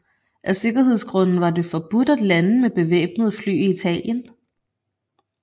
Af sikkerhedsgrunde var det forbudt at lande med bevæbnede fly i Italien